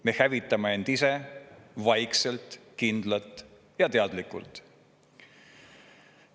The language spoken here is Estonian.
Me hävitame end ise vaikselt, kindlalt ja teadlikult.